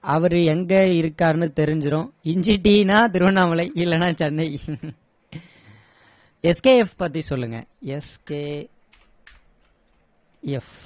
அவரு எங்க இருக்காருன்னு தெரிஞ்சிடும் இஞ்சி டீன்னா திருவண்ணாமலை இல்லன்னா சென்னை SKF பத்தி சொல்லுங்க SK F